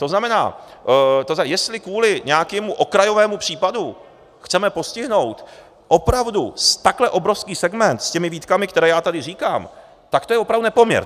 To znamená, jestli kvůli nějakému okrajovému případu chceme postihnout opravdu takhle obrovský segment s těmi výtkami, které já tady říkám, tak to je opravdu nepoměr.